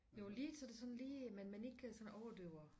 Jo lige til det sådan lige men men ikke sådan overdøver